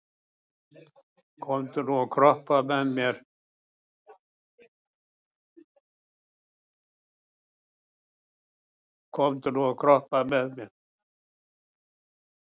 Komdu nú og kroppaðu með mér